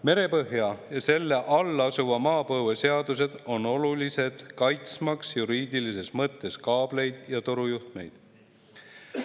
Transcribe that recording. Merepõhja ja selle all asuva maapõue seadused on olulised, kaitsmaks juriidilises mõttes kaableid ja torujuhtmeid.